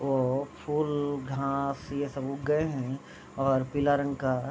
और फूल घास ये सब उग गए है और पीला रंग का --